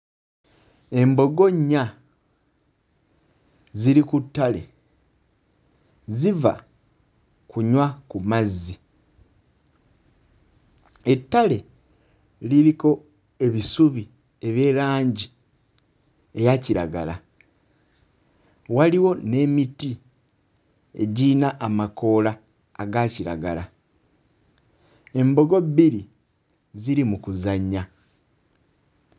Embogo nnya ziri ku ttale ziva kunywa ku mazzi ettale liriko ebisubi eby'erangi eya kiragala waliwo n'emiti egiyina amakoola aga kiragala embogo bbiri ziri mu kuzannya.